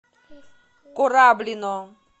кораблино